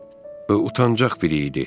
Yəqin utancaq biri idi.